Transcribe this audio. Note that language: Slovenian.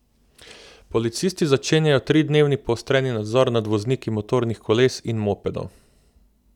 Policisti začenjajo tridnevni poostreni nadzor nad vozniki motornih koles in mopedov.